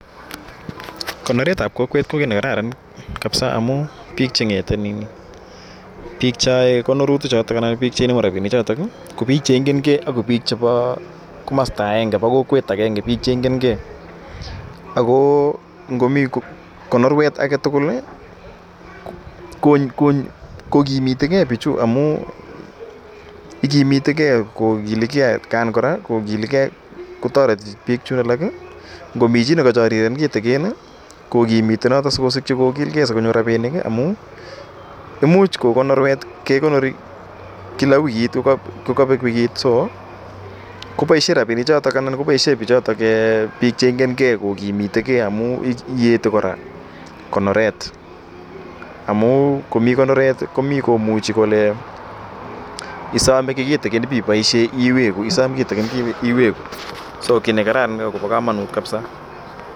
konoret ab kokwet ko kit nekararan kabisa amun bik Chemiten AK cheyae konorutik choton anan kobik chenamu rabinik choton ko bik Chemiten gei AK bik chebo komasta aenge anan ko kokwet agenge AK bik cheigen gei ako ngomii konoret aketugul kokimitigei bichu amun iginitegei ko giligei koraa kotareti bik alak Komi chi nikachariren kitigin ko kimite noton sikosiki kogilgei sikosich rabinik amun imuchi konorwet, kekonori kila wikit kokabek wikit so kobaishen rabinik choton kobaishen bichoton en bik cheigen gei kokimite gei amun iyete koraa konoret amun komii konoret komii koimuche ko le isome kitigin ibaishen iwe iwegu isam kora kitigin akiwegu so ki me kararan akobo kamanut kabisa